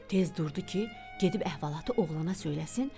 Tez durdu ki, gedib əhvalatı oğlana söyləsin.